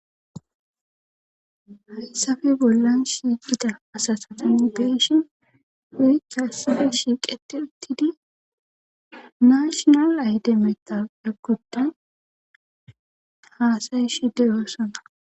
hayssappe bollan shiiqida asasatan beeshin huyichhassafe shiiqete ittidi naashonal ayde mexal egguddan haasayi shide yoossana